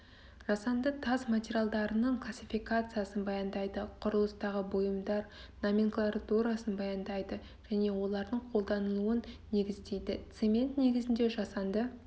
жасанды тас материалдарының классификациясын баяндайды құрылыстағы бұйымдар номенклатурасын баяндайды және олардың қолданылуын негіздейді цемент негізінде жасанды